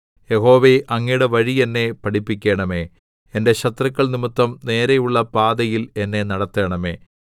യഹോവേ അങ്ങയുടെ വഴി എന്നെ പഠിപ്പിക്കണമേ എന്റെ ശത്രുക്കൾ നിമിത്തം നേരെയുള്ള പാതയിൽ എന്നെ നടത്തണമേ